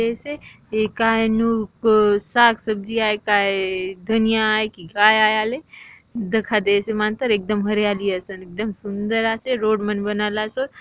ए काय नु को साग-सब्जी आय काय धनिया आय की काय आय आले दखा देय से मांतर एकदम हरियाली असन एकदम सुंदर आसे रोड मन बनल आसोत रोड --